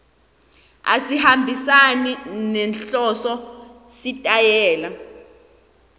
asihambisani nenhloso sitayela